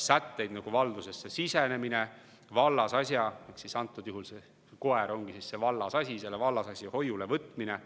sätteid, nagu valdusesse sisenemine ja selle vallasasja – antud juhul koer ongi see vallasasi – hoiule võtmine.